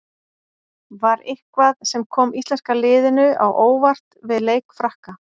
Var eitthvað sem kom íslenska liðinu á óvart við leik Frakka?